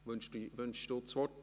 Wünschen Sie das Wort?